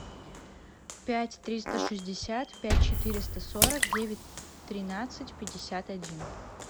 пять триста шестьдесят пять четыреста сорок девять тринадцать пятьдесят один